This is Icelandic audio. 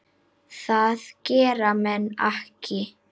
Það gera menn ekki.